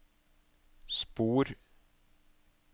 spor